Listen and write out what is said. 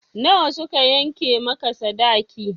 Na wa suka yanke maka sadaki?